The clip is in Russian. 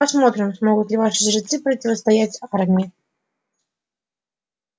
посмотрим смогут ли ваши жрецы противостоять армии